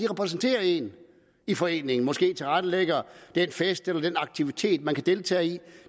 repræsenterer en i foreningen og måske tilrettelægger den fest eller den aktivitet man kan deltage i